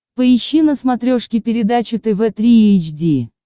поищи на смотрешке передачу тв три эйч ди